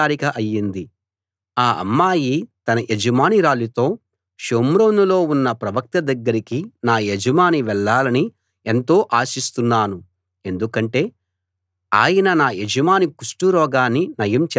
ఆ అమ్మాయి తన యజమానురాలితో షోమ్రోనులో ఉన్న ప్రవక్త దగ్గరికి నా యజమాని వెళ్ళాలని ఎంతో ఆశిస్తున్నాను ఎందుకంటే ఆయన నా యజమాని కుష్టురోగాన్ని నయం చేస్తాడు అంది